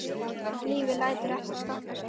Lífið lætur ekkert stoppa sig.